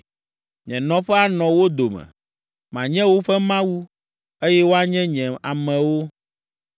Nye nɔƒe anɔ wo dome; manye woƒe Mawu, eye woanye nye amewo.